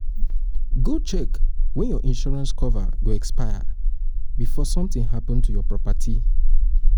go check when your insurance coverage go expire o before sometin happen to your property